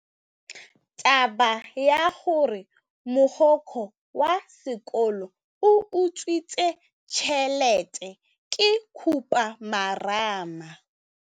Taba ya gore mogokgo wa sekolo o utswitse tšhelete ke khupamarama.